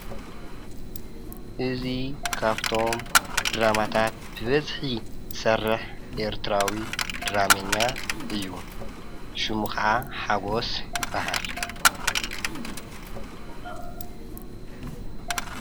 እዙይ ኻብቶም ድራማታት ብበዝኂ ዝሰርሕ ኤርትራዊ ድራሜያ እዩ ሽሙ ኸዓ ሓጐስ ይበሃል::